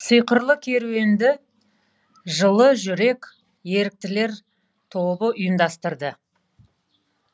сиқырлы керуенді жылы жүрек еріктілер тобы ұйымдастырды